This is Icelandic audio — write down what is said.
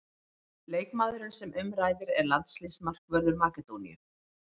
Leikmaðurinn sem um ræðir er landsliðsmarkvörður Makedóníu.